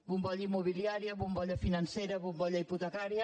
bombolla immobiliària bombolla financera bombolla hipotecària